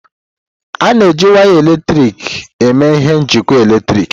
A na-eji waya eletrik eme ihe na njikọ eletrik.